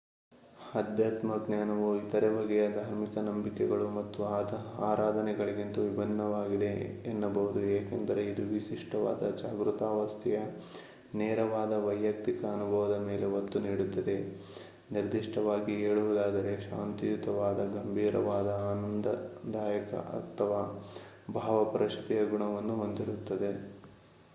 ಆಧ್ಯಾತ್ಮಜ್ಞಾನವು ಇತರೆ ಬಗೆಯ ಧಾರ್ಮಿಕ ನಂಬಿಕೆಗಳು ಮತ್ತು ಆರಾಧನೆಗಳಿಗಿಂತ ವಿಭಿನ್ನವಾಗಿದೆ ಎನ್ನಬಹುದು ಏಕೆಂದರೆ ಇದು ವಿಶಿಷ್ಟವಾದ ಜಾಗೃತಾವಸ್ಥೆಯ ನೇರವಾದ ವೈಯುಕ್ತಿಕ ಅನುಭವದ ಮೇಲೆ ಒತ್ತು ನೀಡುತ್ತದೆ ನಿರ್ದಿಷ್ಟವಾಗಿ ಹೇಳುವುದಾದರೆ ಶಾಂತಿಯುತವಾದ ಗಂಭೀರವಾದ ಆನಂದದಾಯಕ ಅಥವಾ ಭಾವಪರವಶತೆಯ ಗುಣವನ್ನು ಹೊಂದಿರುತ್ತದೆ